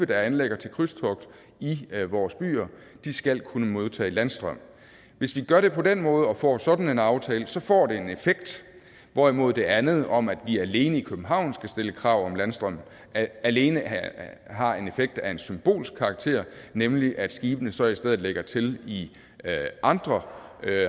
der anløber vores byer skal kunne modtage landstrøm hvis vi gør det på den måde og får sådan en aftale får det en effekt hvorimod det andet om at vi alene i københavn skal stille krav om landstrøm alene har en effekt af en symbolsk karakter nemlig at skibene så i stedet lægger til i andre